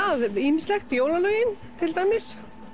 er ýmislegt jólalögin til dæmis